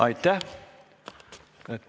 Aitäh!